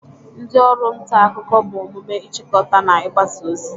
Ndi oru nta akuko bu omume ichikota na igbasa ozi.